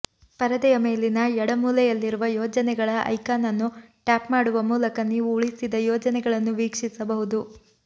ಪರದೆಯ ಮೇಲಿನ ಎಡ ಮೂಲೆಯಲ್ಲಿರುವ ಯೋಜನೆಗಳ ಐಕಾನ್ ಅನ್ನು ಟ್ಯಾಪ್ ಮಾಡುವ ಮೂಲಕ ನೀವು ಉಳಿಸಿದ ಯೋಜನೆಗಳನ್ನು ವೀಕ್ಷಿಸಬಹುದು